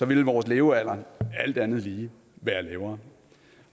ville vores levealder alt andet lige være lavere